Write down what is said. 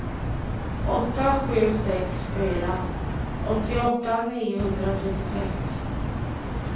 åtta sju sex fyra åttioåtta niohundratrettiosex